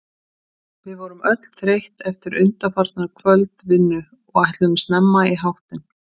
Við vorum öll þreytt eftir undanfarna kvöldvinnu og ætluðum snemma í háttinn.